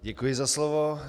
Děkuji za slovo.